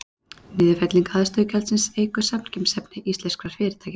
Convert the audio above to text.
Niðurfelling aðstöðugjaldsins eykur samkeppnishæfni íslenskra fyrirtækja.